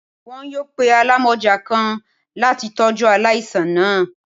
Wọn yoo pe alamọja kan lati tọju alaisan naa.